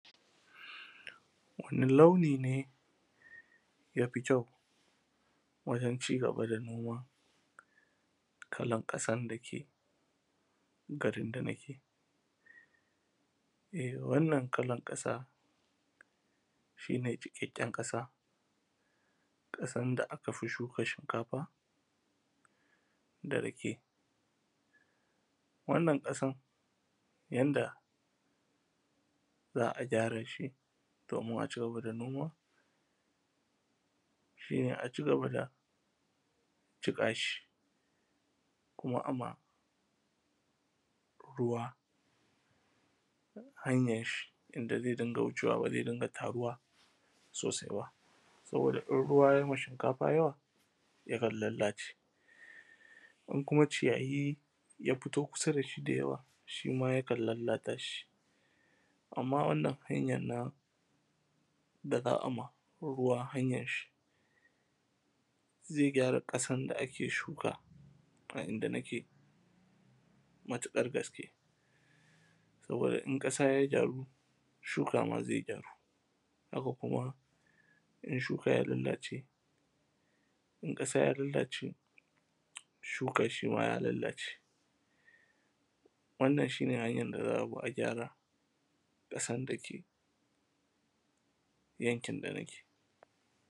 wani launi ne yafi kyau wajen cigaba da noma kalan ƙasan dake garin dana ke wannan kalan ƙasa shi ne jiƙaƙƙen ƙasa ƙasan da aka fi shuka shinkafa da rake wannan ƙasan yanda za a gyara shi domin a cigaba da noma shi ne a cigaba da jiƙa shi kuma a ma ruwa hanyar shi inda zai dinga wucewa ba zai dinga taruwa sosai ba sabida in ruwa yayi ma shinkafa yawa yakan lallace in kuma ciyayi ya fito kusa da shi da yawa shima yakan lallata shi amman wannan hanyar na da za a ma ruwa hanyar shi zai gyara ƙasan da ake shuka a inda nake matuƙar gaske saboda in ƙasa ya gyaru shuka ma zai gyaru haka kuma in shuka ya lallace in ƙasa ya lallace shuka shima ya lallace wannan shi ne hanyar da za a bi a gyara ƙasan da ke yankin dana ke